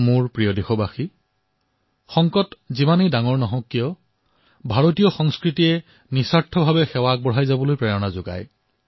মোৰ মৰমৰ দেশবাসীসকল সংকট লাগিলে যিমানেই ডাঙৰ নহওক কিয় ভাৰতৰ সংস্কাৰে নিঃস্বাৰ্থ ভাৱেৰে সেৱাৰ অনুপ্ৰেৰণা প্ৰদান কৰে